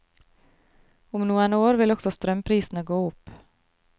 Om noen år vil også strømprisene gå opp.